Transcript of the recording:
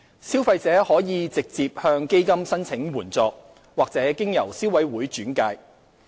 消費者可直接向基金申請援助，或經由消委會轉介。